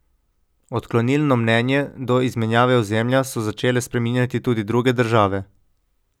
Odklonilno mnenje do izmenjave ozemlja so začele spreminjati tudi druge države.